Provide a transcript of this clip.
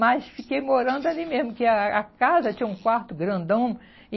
Mas fiquei morando ali mesmo, que a a casa tinha um quarto grandão. E